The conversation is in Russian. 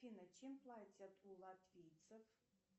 афина чем платят у латвийцев